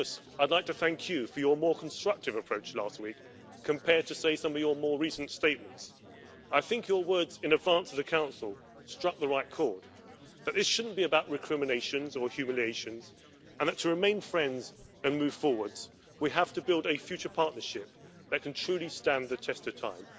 I'd like to thank Mr Tusk for his more constructive approach last week compared to, say, some of his more recent statements. I think, Mr Tusk, that your words in advance of the Council struck the right chord, that this shouldn't be about recriminations or humiliations, and that to remain friends and move forward we have to build a future partnership that can truly stand the test of time.